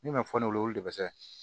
Min ma fɔ ne olu de be se ka